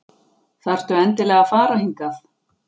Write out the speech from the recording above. Þarftu endilega að fara hingað?